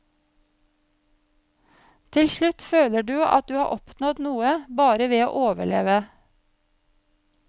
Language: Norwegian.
Til slutt føler du at du har oppnådd noe bare ved å overleve.